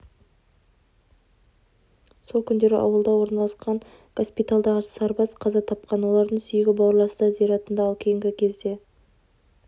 сол күндері ауылда орналасқан госпитальдағы сарбаз қаза тапқан олардың сүйегі бауырластар зиратында ал кейінгі кезде